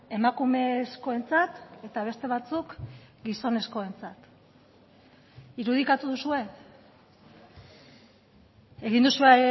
emakumezkoentzat eta beste batzuk gizonezkoentzat irudikatu duzue egin duzue